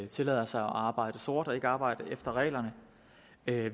tillader sig at arbejde sort og ikke arbejder efter reglerne